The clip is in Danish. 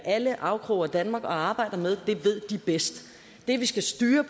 alle afkroge af danmark og arbejder med det ved de bedst det vi skal styre